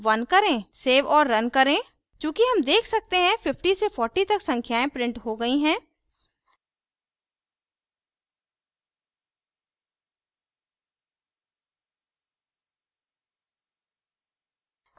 save और run करें चूँकि हम देख सकते हैं 50 से 40 तक संख्याएं printed हो गई हैं